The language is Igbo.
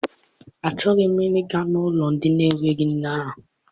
Achọghị m I ga n'ụlọ ndị n'enweghị nne ahụ.